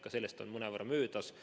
Ka sellest on mõnevõrra möödas.